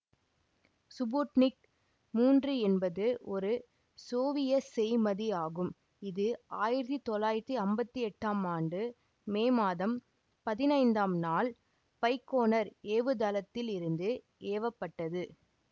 Sputnik மூன்று என்பது ஒரு சோவியத் செய்மதி ஆகும் இது ஆயிரத்தி தொள்ளாயிரத்தி ஐம்பத்தி எட்டாம் ஆண்டு மே மாதம் பதிண்ணைந்தம் நாள் பைக்கோனர் ஏவுதளத்தில் இருந்து ஏவ பட்டது